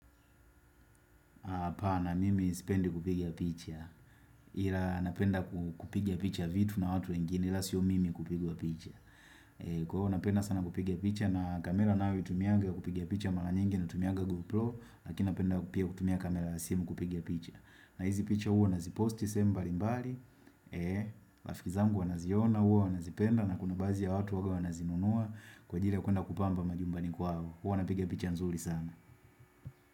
Hapana mimi sipendi kupiga picha. Ila napenda kupiga picha vitu na watu wengine. Ila sio mimi kupigwa picha. Kwa hivyo napenda sana kupiga picha. Na kamera ninayoitumianga kupiga picha mara nyingi natumiaga GoPro. Lakini napenda pia kutumia kamera na simu kupiga picha. Na hizi picha huo naziposti sehemu mbali mbali. Rafiki zangu wanaziona, huo wanazipenda. Na kuna bazi ya watu huwaga wanazinunua. Kwa ajili ya kwenda kupamba majumbani kwao. Huwa napiga picha nzuri sana.